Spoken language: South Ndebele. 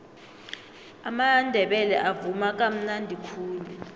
amandebele avuma kamnadi khulu